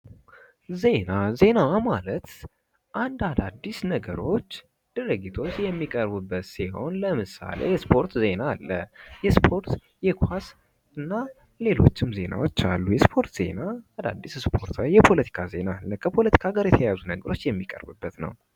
ዜና ዜና ማለት አንድ አካባቢ አዳዲስ ነገሮች ድርጊቶች የሚቀርቡበት ሲሆን ለምሳሌ የስፖርት ዜና አለ። የስፖርት የኳስ እና ሌሎችም ዜናዎች አሉ የስፖርት አዳዲስ ስፖርት የፖለቲካ ዜና ከፖለቲካ ጋር የተያያዙ ነገሮች የሚቀርቡበት ነው ።